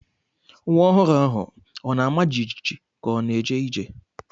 Nwa ọhụrụ ahụ ọ na-ama jijiji ka ọ na-eje ije?